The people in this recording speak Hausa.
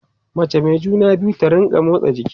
mace Mai juna biyu ta rinka motsa jiki